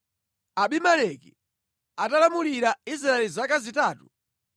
Abimeleki atalamulira Israeli zaka zitatu,